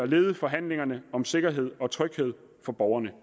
lede forhandlingerne om sikkerhed og tryghed for borgerne